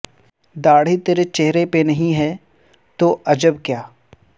داڑھی ترے چہرے پہ نہیں ہے تو عجب کیا